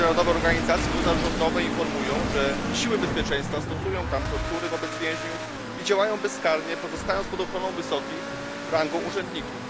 Międzynarodowe organizacje pozarządowe informują, że siły bezpieczeństwa stosują tam tortury wobec więźniów i działają bezkarnie pozostając pod ochroną wysokich rangą urzędników.